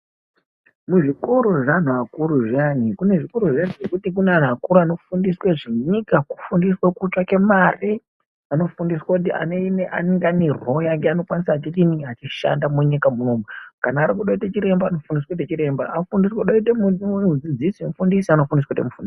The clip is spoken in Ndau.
Muzvikoro zveantu akuru zviyani kune zvikoro zviyani zvekuti kune antu akuru anofundiswa zvinyika kufundiswa kutsvake mare. Anofundiswa kuti anenge ane roo yake achidini achishanda munyika munomu. Kana arikuda kuita chiremba anofundiswa kuita chiremba kana achida kuitwe mudzidzisi anofundiswa kute mufundisi.